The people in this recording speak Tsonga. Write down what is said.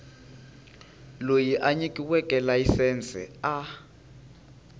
loyi a nyikiweke layisense a